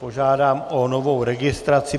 Požádám o novou registraci.